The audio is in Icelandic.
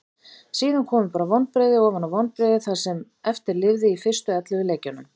Síðan komu bara vonbrigði ofan á vonbrigði það sem eftir lifði í fyrstu ellefu leikjunum.